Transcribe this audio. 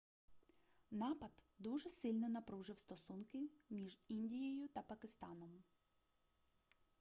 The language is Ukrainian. напад дуже сильно напружив стосунки між індією та пакистаном